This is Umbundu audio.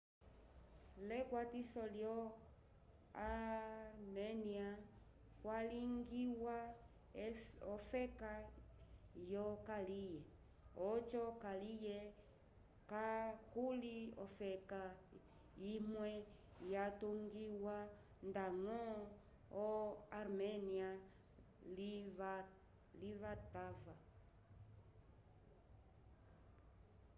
l'ekwatiso lyo arménia kwalingiwa ofeka yokaliye oco kaliye kakuli ofeka imwe yatungiwa ndañgo arménia livatava